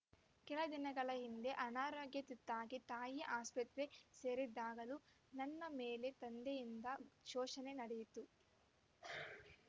ಕೆಲ ದಿನಗಳ ಹಿಂದೆ ಅನಾರೋಗ್ಯ ತುತ್ತಾಗಿ ತಾಯಿ ಆಸ್ಪತ್ರೆ ಸೇರಿದ್ದಾಗಲೂ ನನ್ನ ಮೇಲೆ ತಂದೆಯಿಂದ ಶೋಷಣೆ ನಡೆಯಿತು